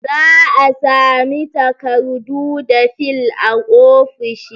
Za'a sami takardu da fil a ofisoshi